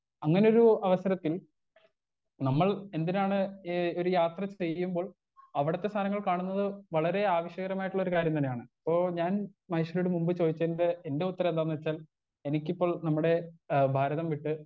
Speaker 1 അങ്ങനൊരു അവസരത്തിൽ നമ്മൾ എന്തിനാണ് ഏ ഒരു യാത്ര ചെയ്യുമ്പോൾ അവിടത്തെ സാനങ്ങൾ കാണുന്നത് വളരേ ആവശ്യകരമായിട്ടുള്ളൊരു കാര്യം തന്നെയാണ് ഇപ്പോ ഞാൻ മഹേശ്വരിയോട് മുമ്പ് ചോദിച്ചതിന്റെ എന്റെ ഉത്തരെന്താന്ന് വെച്ചാൽ എനിക്കിപ്പോൾ നമ്മടെ ആ ഭാരതം വിട്ട്.